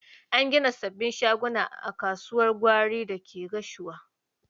An gina sabbin shaguna a kasuwar gwari da ke Gashua.